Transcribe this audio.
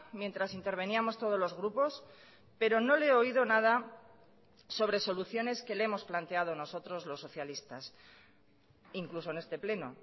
mientras interveníamos todos los grupos pero no le he oído nada sobre soluciones que le hemos planteado nosotros los socialistas incluso en este pleno